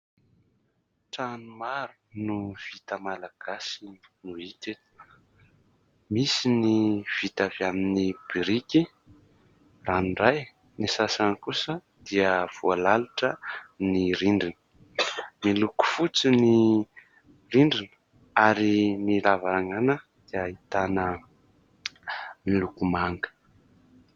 Trano maro no vita malagasy no hita eto. Misy ny vita avy amin'ny biriky ranoray. Ny sasany kosa dia voalalotra ny rindrina. Miloko fotsy ny rindrina ary ny lavarangana dia ahitana loko manga.